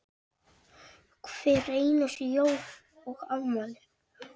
Hver einustu jól og afmæli.